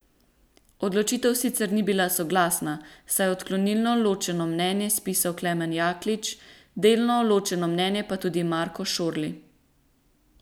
Odločitev sicer ni bila soglasna, saj je odklonilno ločeno mnenje spisal Klemen Jaklič, delno ločeno mnenje pa tudi Marko Šorli.